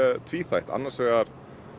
tvíþætt annars vegar